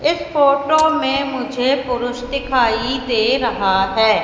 इस फोटो में मुझे पुरुष दिखाई दे रहा है।